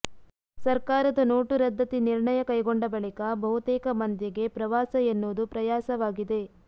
ಸರ್ಕಾರದ ನೋಟು ರದ್ದತಿ ನಿರ್ಣಯ ಕೈಗೊಂಡ ಬಳಿಕ ಬಹುತೇಕ ಮಂದಿಗೆ ಪ್ರವಾಸ ಎನ್ನುವುದು ಪ್ರಯಾಸವಾಗಿದೆ